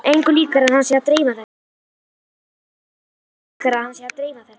Engu líkara en hann sé að dreyma þetta!